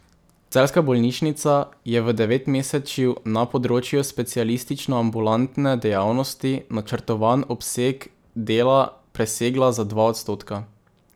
Celjska bolnišnica je v devetmesečju na področju specialističnoambulantne dejavnosti načrtovan obseg dela presegla za dva odstotka.